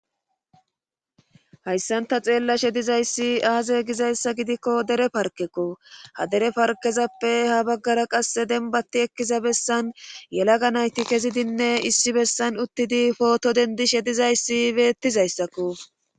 Hayssan ta xeella she dizayssi aaze gizayssa gidikko dere parkekko ha dere parkezappe ha baggara qasse denbatti ekkiza bessan yelaga nayti kezidinne issi bessan uttidi pooto dendi she dizayssi beettizayssakko.